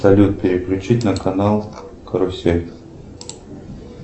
салют переключить на канал карусель